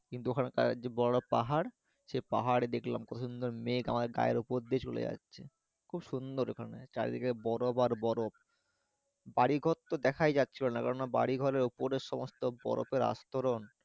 কিন্তু ওখানকার যে বড়ো পাহাড় সে পাহাড় দেখলাম কতো সুন্দর মেঘ আমাদের গায়ের উপর দিয়ে চলে যাচ্ছে খুব সুন্দর ওখানে চারিদিকে বরফ আর বরফ বাড়ি ঘর তো দ্যাখাই যাচ্ছিলোনা কেননা বাড়িঘরের উপরে সমস্ত তো বরফের আস্তরণ